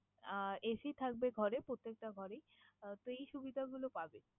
আহ AC থাকবে ঘরে, প্রত্যেকটা ঘরেই। তো এই সুবিধাগুলো পাবেন।